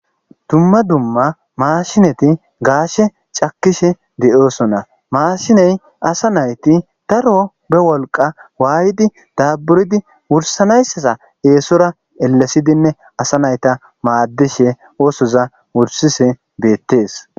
dumma dumma maashineti gaashe cakishe de'osona, maashiney asa nayti daro be wolqa waaydi daaburidi wursanaysaza eesora elesidinne asa nayta maaddishe oosoza wursise beettees